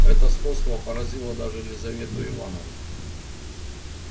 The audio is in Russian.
это сходство поразило даже лизавету ивановну